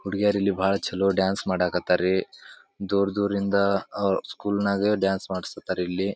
ಹುಡಿಗಿಯರು ಇಲ್ಲಿ ಬಹಳ ಚಲೋ ಡಾನ್ಸ್ ಮಾಡಾಕಟರ ರೀ ದೂರ್ ದೂರಿಂದ ಸ್ಕೂಲ್ ಗೆ ಡಾನ್ಸ್ ಮಾಡಿಸ್ತಾ ಇದ್ದಾರೆ ಇಲ್ಲಿ.